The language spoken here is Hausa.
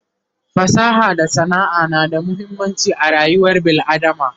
fasaha da sana'a na da muhimmanci a rayuwar bil adama